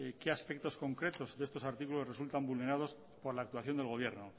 qué aspectos concretos de estos artículos resultan vulnerados por la actuación del gobierno